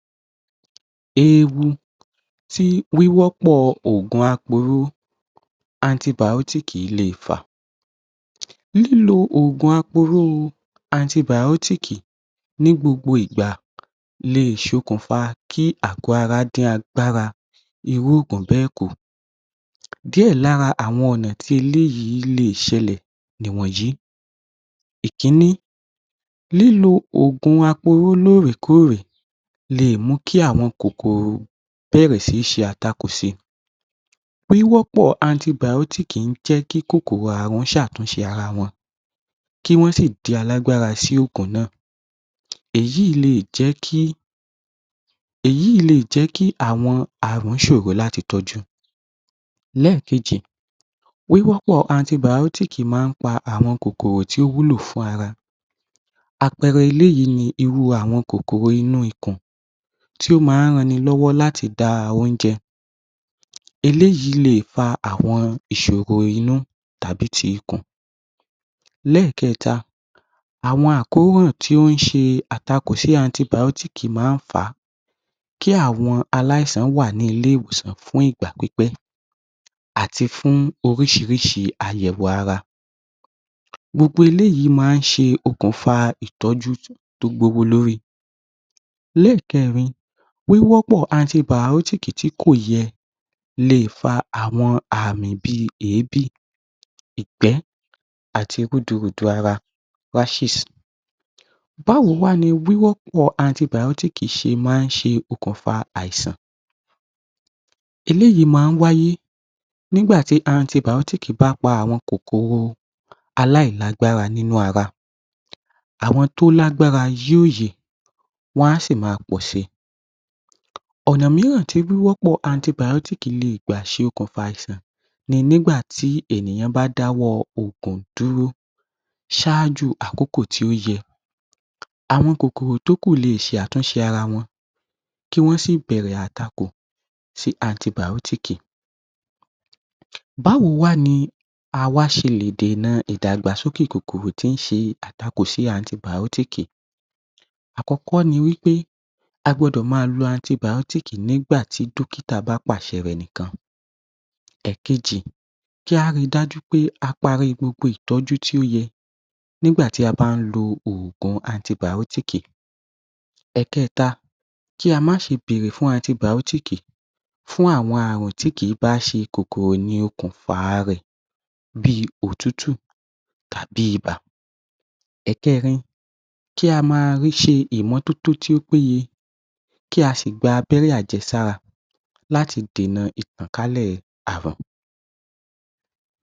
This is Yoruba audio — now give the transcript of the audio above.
‎Eewu TÍ wíwọ́pọ̀ òògùn aporó anti biotics Le fà, nínú òògùn aporó anti biotics NÍ gbogbo ìgbà lè ṣokùnfà kí àgọ́ ara dín agbára irú òògùn bẹ́ẹ̀ kù díẹ̀ lára àwọn ọ̀nà tí eléyìí lè ṣẹlẹ̀ ni ìwọ̀nyí, ìkíní lílo òògùn aporó lóòrè kóòrè lè mú kí àwọn òògùn aporó bẹ̀rẹ̀ sí ní ṣe àtakò sí I, wíwọ́pọ̀ anti biotics Lè mú kí kòkòrò Ààrùn ṣe ṣe àtúnṣe ara wọn kí Wọ́n sì di alágbára sí òògùn náà, èyí lè jẹ́ kí èyí lè jẹ́ kí àwọn Ààrùn sòro láti tọ́jú, lẹ́ẹ̀kejì, wíwọ́pọ̀ anti biotics Màá Ń pa àwọn kòkòrò tí ó wúlò fún ara, àpẹẹrẹ eléyìí ni irú àwọn kòkòrò inú ikùn tí ó máa ń ran ni lọ́wọ́ láti da oúnjẹ, eléyìí lè pa àwọn kòkòrò inú tàbí ti ikùn, elẹ́ẹ̀kẹẹ̀ta àwọn àkóràn tí ó ń ṣe àtakò sí anti biotics máa ń fà á kí àwọn aláìsàn wà ní ilé ìwòsàn fún ìgbà pipẹ́, àti fún orísìírísìí àyẹ̀wò ara, gbogbo eléyìí máa ń ṣe okùnfà ìtọ́jú tó gbówó lori ẹlẹ́ẹ̀kẹẹ̀rin, wíwọ́pọ̀ antibiotics TÍ kò yẹ lè fa àwọn Ààrùn bíi èébì, ìgbẹ́, àti rúdurùdu ara rashes báwo wá ni wíwọ́pọ̀ anti biotics ṣe máa ń ṣe okùnfà àìsàn eléyìí máa ń wáyé nígbà tí anti biotics bá pa Kòkòrò aláìlágbára nínú ara àwọn tó lágbára yéye wọ́n á sì máa pọ̀ sí i ọ̀nà mìíràn tí wíwọ́pọ̀ antibiotics lè gbà ṣokùnfà àìsàn ni nígbà tí ènìyàn bá dáwọ́ òògùn dúró ṣáájú àkókò tí ó yẹ àwọn kòkòrò tó kù lè ṣe àtúnṣe ara wọn, kí Wọ́n sì bẹ̀rẹ̀ àtakò sí antibiotic bá wo wá ni a ṣe le dènà idàgbàsókè kòkòrò tíí ṣe àtakò sí anti biotics àkọ́kọ́ ni pé a gbọ́dọ̀ máa lo antibiotics nígbà tí Dókítà bá pàṣẹ rẹ̀ nìkan, èkejì kí á rí I pé a parí gbogbo ìtọ́jú tí ó yẹ nígbà tí a bá parí antibiotics ẹ̀kẹẹ̀ta kí a má ṣe bèrè fún antibiotics fún àwọn àwọn Ààrùn tí kìí bá ṣe kòkòrò ló ṣokùnfà rẹ bíi òtútù tàbí ibà, ẹ̀kẹẹ̀rin kí a máa ṣe ìmọ́totó tó péye ‎ kí a sì gba abẹ́rẹ́ àjẹsára kí á le dènà ìtànkálẹ̀ Ààrùn. ‎